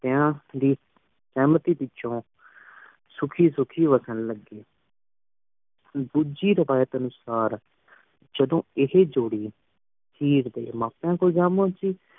ਏਨਾ ਦੀ ਸਹਮਤੀ ਪਿੱਛੋਂ ਸੁਖੀ ਸੁਖੀ ਵਸ਼ਨ ਲਗੇ ਡੋਜੀ ਰਿਵਾਯਤ ਅਨੁਸਾਰ ਜਦੋ ਏਹੀ ਜੋੜੀ ਹੀਰ ਦੇ ਮੈ ਪਿਉ ਕੋਲ ਜਾ ਪੁਨ੍ਚੀ